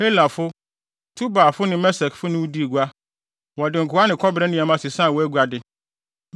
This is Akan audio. “ ‘Helafo, Tubalfo ne Mesekfo ne wo dii gua, wɔde nkoa ne kɔbere nneɛma sesaa wʼaguade.